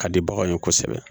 Ka di baganw ye kosɛbɛ